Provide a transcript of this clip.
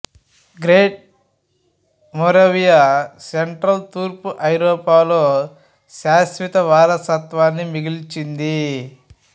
great Moravia central తూర్పు ఐరోపాలో శాశ్వత వారసత్వాన్ని మిగిల్చింది